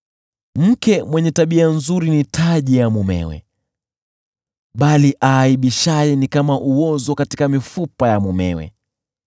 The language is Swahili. Mke mwenye tabia nzuri ni taji ya mumewe, bali aaibishaye ni kama uozo katika mifupa ya mumewe.